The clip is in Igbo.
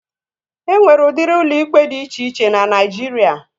E nwere udiri ụlọ ikpe dị iche iche n'Naijiria